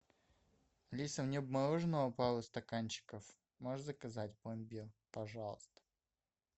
алиса мне бы мороженого пару стаканчиков можешь заказать пломбир пожалуйста